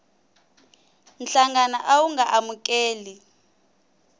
nhlangano a wu nga amukeli